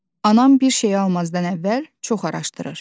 Anam bir şeyi almazdan əvvəl çox araşdırır.